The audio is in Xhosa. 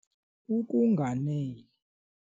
Ukunganeli